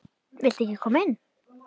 Viltu ekki koma inn?